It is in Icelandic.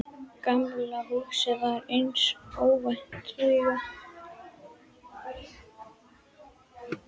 Gamla húsið var einsog óvinnandi vígi þarna inní miðju hverfinu.